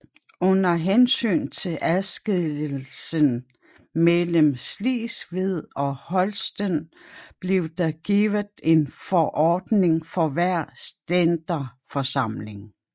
Under hensyn til adskillelsen mellem Slesvig og Holsten blev der givet en forordning for hver Stænderforsamling